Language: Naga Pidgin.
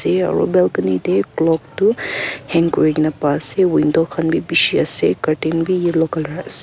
tey aro balcony tey clock tu hang kurigena paise window khan bi bishi ase curtain bi yellow color ase.